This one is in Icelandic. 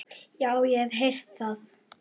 Já, ég hef heyrt það.